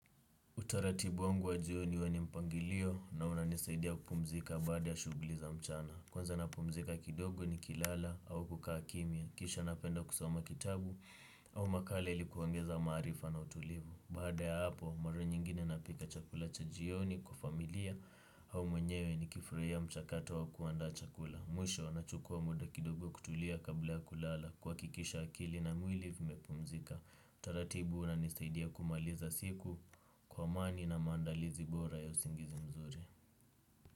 Utaratibu wangu wa jioni huwa ni mpangilio na unanisaidia kupumzika baada ya shuguli za mchana. Kwanza napumzika kidogo ni kilala au kukaa kimia. Kisha napenda kusoma kitabu au makale ili kuongeza maarifa na utulivu. Baada ya hapo, mara nyingine napika chakula cha jioni kwa familia au mwenyewe ni kifurahia mchakato wa kuanda chakula. Mwisho, nachukua muda kidogo kutulia kabla ya kulala. Kuhakikisha akili na mwili vimepumzika. Taratibu una nisaidia kumaliza siku kwa amani na mandalizi bora ya usingizi mzuri.